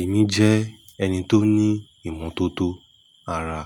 Èmi jẹ́ ẹni tó ní ìmọ́tótó ara,